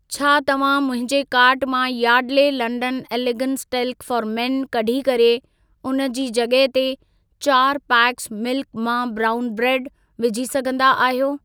छा तव्हां मुंहिंजे कार्ट मां Yardley London elegance talc for men कढी करे उन जी जॻह ते चारि पैकस मिल्क मा ब्राउन ब्रेड विझी सघंदा आहियो?